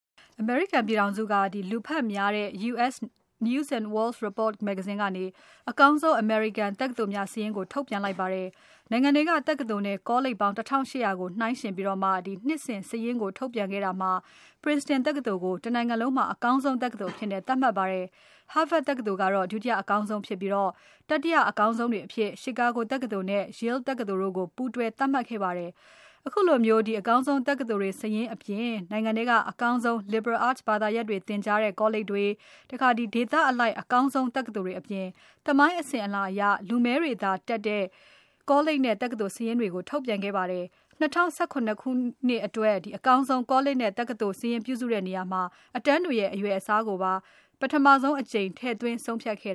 အမေရိကန်ပြည်ထောင်စုက လူဖတ်များတဲ့ U.S. News & World Report မဂ္ဂဇင်းက အကောင်းဆုံး အမေရိကန် တက္ကသိုလ်များစာရင်းကို ထုတ်ပြန်လိုက်ပါတယ်။ နိုင်ငံထဲက တက္ကသိုလ်နဲ့ ကောလိပ်ပေါင်း ၁၈၀၀ နှိုင်းယှဉ်ပြီး နှစ်စဉ်စာရင်းကို ထုတ်ပြန်ခဲ့တာမှာ Princeton တက္ကသိုလ်ကို တနိုင်ငံလုံးမှာ အကောင်းဆုံး တက္ကသိုလ်အဖြစ် သတ်မှတ်ခဲ့ပါတယ်။ Harvard တက္ကသိုလ်က ဒုတိယအကောင်းဆုံးဖြစ်ပြီး၊ တတိယ အကောင်းဆုံးတွေအဖြစ် Chicago တက္ကသိုလ်နဲ့ Yale တက္ကသိုလ်တို့ကို ပူးတွဲသတ်မှတ်ခဲ့ပါတယ်။ ခုလို အကောင်းဆုံး တက္ကသိုလ်တွေ စာရင်းအပြင် နိုင်ငံထဲက အကောင်းဆုံး Liberal Arts ဘာသာရပ်တွေ သင်ကြားတဲ့ ကောလိပ်တွေ၊ ဒေသအလိုက် အကောင်းဆုံး တက္ကသိုလ်တွေအပြင် သမိုင်းအစဉ်အလာအရ လူမည်းတွေသာတက်တဲ့ ကောလိပ်နဲ့ တက္ကသိုလ်စာရင်းတွေကိုလည်း ထုတ်ပြန်ခဲ့ပါတယ်။ ၂၀၁၇ ခုနှစ်အတွက် အကောင်းဆုံး ကောလိပ် တက္ကသိုလ်စာရင်းပြုစုတဲ့နေရာမှာ အတန်းတွေရဲ့ အရွယ်အစားကိုပါ ပထမဆုံးအကြိမ် ထည့်သွင်းဆုံးဖြတ်ခဲ့